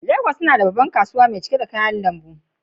Legas tana da babbar kasuwa mai cike da kayan lambu.